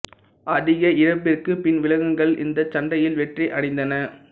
அதிக இழப்பிற்குப் பின் விலங்குகள் இந்தச் சண்டையில் வெற்றி அடைந்தன